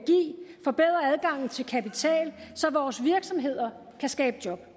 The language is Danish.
forbedrer adgangen til kapital så vores virksomheder kan skabe job